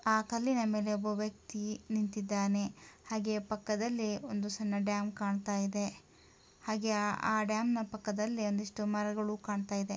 ಆ ಕಲ್ಲಿನ ಮೇಲೆ ಒಬ್ಬ ವ್ಯಕ್ತಿ ನಿಂತಿದ್ದಾನೆ ಹಾಗೆ ಪಕ್ಕದಲ್ಲಿ ಒಂದು ಡ್ಯಾಮ್ ಕಾಣ್ತಾ ಇದೆ ಹಾಗೆ ಆ ಡ್ಯಾಮ್ ಪಕ್ಕದಲ್ಲಿ ಒಂದಿಷ್ಟು ಮರಗಳು ಕಾಣ್ತಾ ಇದ್ದಾವೆ.